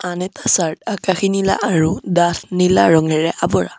আন এটা চাৰ্ট আকাশী নীলা আৰু ডাঠ নীলা ৰঙেৰে আৱৰা।